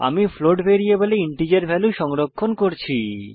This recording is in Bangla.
আমি ফ্লোট ভ্যারিয়েবলে ইন্টিজার ভ্যালু সংরক্ষণ করছি